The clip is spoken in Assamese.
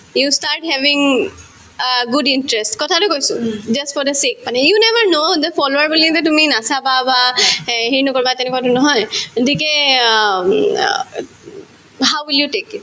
you start having uh good interest কথাটো কৈছো just for a check মানে you never know the follower বুলি যে তুমি নাচাবা বা এই হেৰি নকৰিবা তেনেকুৱাধৰণৰ নহয় uh um uh how will you take it?